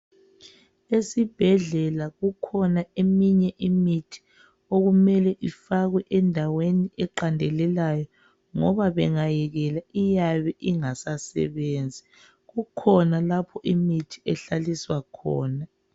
Esibhedlela kukhona eminye imithi okumele ifakwe endaweni eqandelelayo ngoba bengayekela iyabe ingasasebenzi. Kukhona lapho imithi ehlaliswa khona.